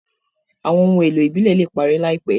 Awọn ohun èlò ibilẹ le parẹ laipẹ